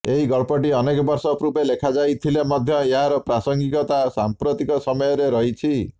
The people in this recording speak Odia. ଏହି ଗଳ୍ପଟି ଅନେକ ବର୍ଷ ପୂର୍ବେ ଲେଖାଯାଇଥିଲେ ମଧ୍ୟ ଏହାର ପ୍ରାସଙ୍ଗିକତା ସାମ୍ପ୍ରତିକ ସମୟରେ ରହିଛି